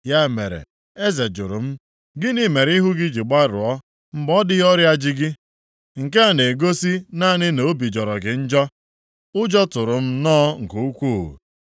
Ya mere, eze jụrụ m, “Gịnị mere ihu gị ji gbaruo mgbe ọ dịghị ọrịa ji gị? Nke a na-egosi naanị na obi jọrọ gị njọ.” Ụjọ tụrụ m nnọọ nke ukwu.